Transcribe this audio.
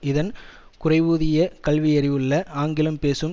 இதன் குறைவூதிய கல்வியறிவுள்ள ஆங்கிலம் பேசும்